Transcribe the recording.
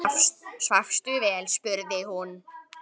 Svafstu vel? spurði hún.